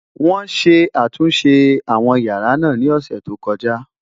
wón sé àtúnṣe àwọn yàrá nà ní ọsẹ tó koja